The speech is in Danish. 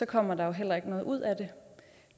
kommer der jo heller ikke noget ud af det